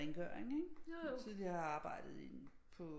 Rengøring ikke tidligere har jeg arbejdet i på